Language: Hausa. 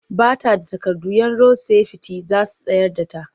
Ba ta da takardu 'yan rod-sefiti za su tsayar da ta.